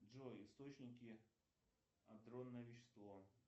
джой источники андронное вещество